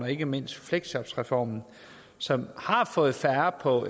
ikke mindst fleksjobreformen som har fået færre på